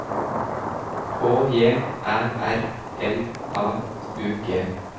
K J Æ R L A U G